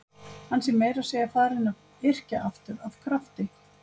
Hann sé meira að segja farinn að yrkja aftur af krafti.